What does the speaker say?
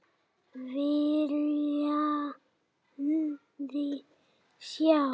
Viljiði sjá!